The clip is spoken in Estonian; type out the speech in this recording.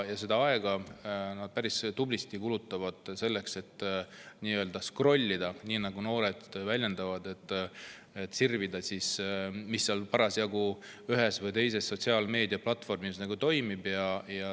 Nad kulutavad päris tublisti aega selleks, et skrollida, nii nagu noored väljendavad, sirvida ja näha, mis parasjagu ühel või teisel sotsiaalmeediaplatvormil toimib.